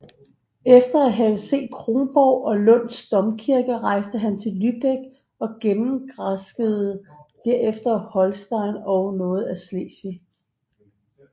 Efter at have set Kronborg og Lunds Domkirke rejste han til Lybæk og gennemgranskede derefter Holsten og noget af Slesvig